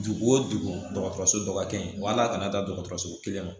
Dugu o dugu dɔgɔtɔrɔso dɔgɔkɛ in wal'a kana taa dɔgɔtɔrɔso kelen ma